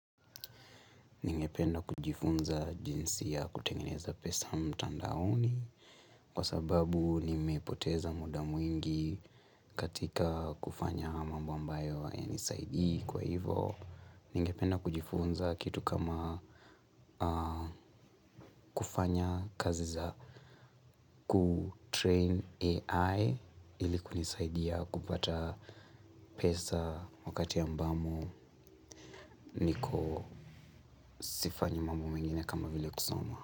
Ningependa kujifunza jinsi ya kutengeneza pesa mtandaoni kwa sababu nimepoteza muda mwingi katika kufanya mambo ambayo hayanisaidii kwa hivo. Nyingependa kujifunza kitu kama kufanya kazi za kutrain AI ili kunisaidia kupata pesa wakati ambamo niko sifanyi mambo mengine kama vile kusoma.